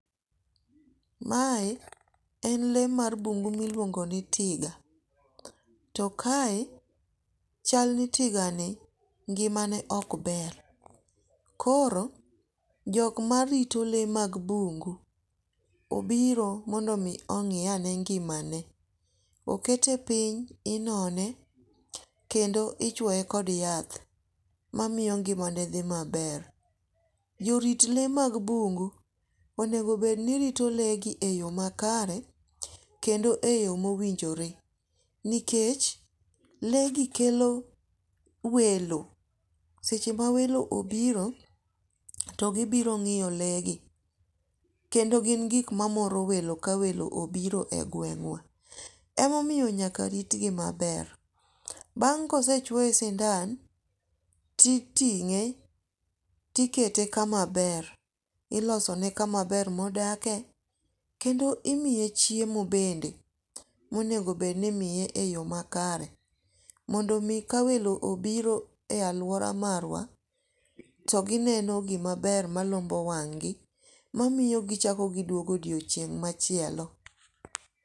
Mae en le mar bungu miluongo nit tiga, to kae chalni tigani ng'imane ok ber, koro jok marito le mag bungu, obiro mondi mi ong'iane ngimane, okete piny inone kendo ichwoye kod yath mamiyo ng'imane thi maber, jorit le mag mbugu onego bed ni rito legi e yo makare kendo e yo mowinjore nikech legi kelo welo, seche ma welo obiro, to gibiro ng'iyo legi, kendo gi gik ma moro welo ka welo obiro e gweng'wa , emomiyo nyaka ritgi maber. Bang' ka osechuoye sindan titing'e tikete kamaber, ilosone kama ber modakie kendo imiye chiemo bende monego bed ni imiye e yo makare mondo mi ka welo obiro e aluora marwa to gineno gimaber malombo wang'gi mamiyo gichako giduogo odiochieng' machielo.